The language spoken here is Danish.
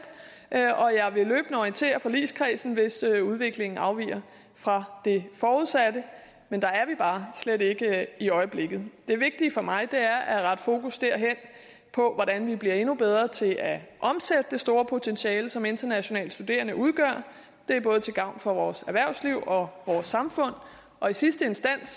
og jeg vil løbende orientere forligskredsen hvis udviklingen afviger fra det forudsatte der er vi bare slet ikke i øjeblikket det vigtige for mig er at rette fokus på hvordan vi bliver endnu bedre til at omsætte det store potentiale som internationale studerende udgør det er både til gavn for vores erhvervsliv og vores samfund og i sidste instans